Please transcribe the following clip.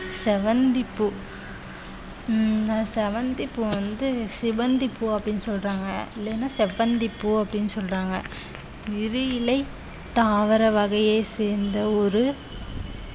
செவ்வந்தி பூ உம் நான் செவ்வந்தி பூ வந்து சிவந்தி பூ அப்படின்னு சொல்றாங்க இல்லைன்னா செவ்வந்தி பூ அப்படின்னு சொல்றாங்க விதி இல்லை தாவர வகையை சேர்ந்த ஒரு